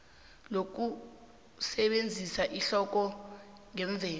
lokusebenzisa ihloko ngemvelo